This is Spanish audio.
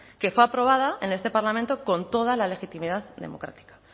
que fue aprobada en este parlamento con toda la legitimidad democrática